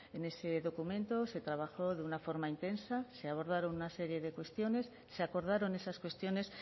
en ese documento se trabajó de una forma intensa se abordaron una serie de cuestiones se acordaron esas cuestiones